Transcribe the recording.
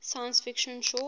science fiction short